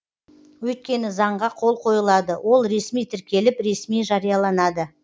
өйткені заңға қол қойылады ол ресми тіркеліп ресми жарияланады